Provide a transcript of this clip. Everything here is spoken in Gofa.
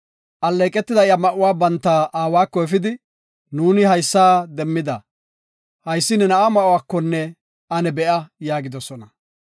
Alleeqetida iya ma7uwa banta aawako efidi “Nuuni haysa demmida; haysi ne na7a ma7uwakonne ane be7a” yaagidosona.